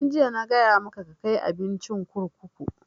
Tun jiya na gaya maka ka kai abincin kurkuku!